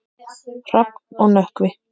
Hrafn og Nökkvi.